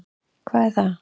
Hvað er það?